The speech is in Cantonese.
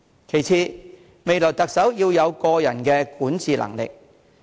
其次，未來特首要有過人的管治能力。